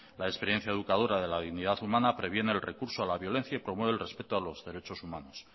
la experiencia educadora de la dignidad humana previene el recurso a la violencia y promueve el respeto a los derechos humanos